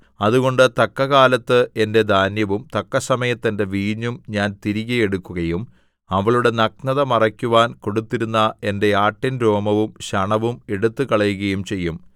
അതുകൊണ്ട് തക്കകാലത്ത് എന്റെ ധാന്യവും തക്കസമയത്ത് എന്റെ വീഞ്ഞും ഞാൻ തിരികെ എടുക്കുകയും അവളുടെ നഗ്നത മറയ്ക്കുവാൻ കൊടുത്തിരുന്ന എന്റെ ആട്ടിൻ രോമവും ശണവും എടുത്തുകളയുകയും ചെയ്യും